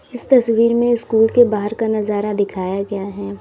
इस तस्वीर में स्कूल के बाहर का नजारा दिखाया गया है।